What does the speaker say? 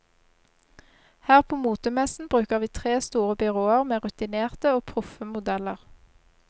Her på motemessen bruker vi tre store byråer, med rutinerte og proffe modeller.